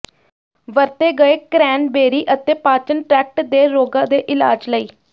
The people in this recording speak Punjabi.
ਵਰਤੇ ਗਏ ਕਰੈਨਬੇਰੀ ਅਤੇ ਪਾਚਨ ਟ੍ਰੈਕਟ ਦੇ ਰੋਗਾਂ ਦੇ ਇਲਾਜ ਲਈ